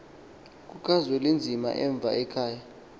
kukazwelinzima emva ekhaya